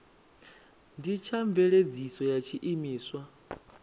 ndi tsha mveledziso ya tshiimiswa